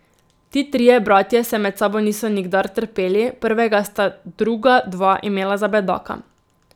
Ti trije bratje se med sabo niso nikdar trpeli, prvega sta druga dva imela za bedaka.